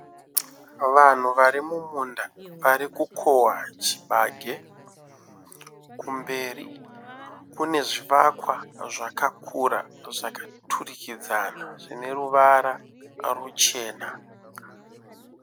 Vanhu vari mumunda varikukohwa chibage. Kumberi kune zvivakwa zvakakura zvakaturikidzana zvine ruvara ruchena.